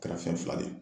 Kɛra fɛn fila de ye